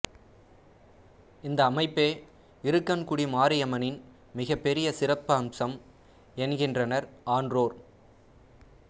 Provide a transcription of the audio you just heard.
இந்த அமைப்பே இருக்கன்குடி மாரியம்மனின் மிகப்பெரிய சிறப்பம்சம் என்கின்றனர் ஆன்றோர்